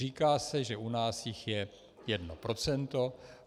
Říká se, že u nás jich je jedno procento.